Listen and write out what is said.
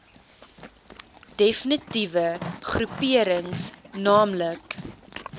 defnitiewe groeperings naamlik